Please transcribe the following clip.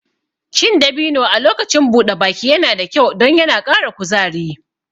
Cin dabino a lokacin buɗe baki yana da kyau don yana ƙara kuzari